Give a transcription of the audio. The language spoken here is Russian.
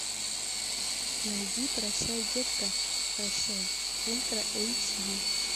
найди прощай детка прощай ультра эйч ди